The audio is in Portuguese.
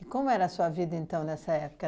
E como era a sua vida, então, nessa época?